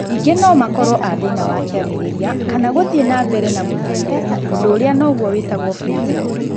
Ningi no makorwo a thina wa kwambiriria kana guthii na mbere na muthiire undu uria noguo witagwo freezing